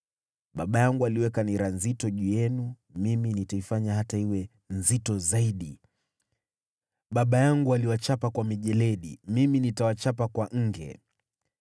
Baba yangu aliweka nira nzito juu yenu, mimi nitaifanya hata iwe nzito zaidi. Baba yangu aliwachapa kwa mijeledi, mimi nitawachapa kwa nge.’ ”